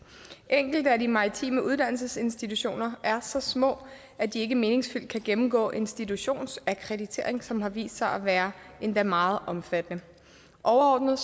enkelte af de maritime uddannelsesinstitutioner er så små at de ikke meningsfyldt kan gennemgå institutionsakkreditering som har vist sig at være endda meget omfattende overordnet